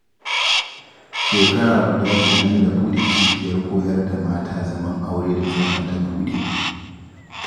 Shekara guda kenan da buɗe cibiyar koyar da mata zaman aure da Salma ta buɗe